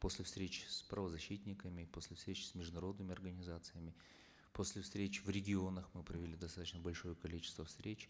после встреч с правозащитниками после встреч с международными организациями после встреч в регионах мы провели достаточно большое количество встреч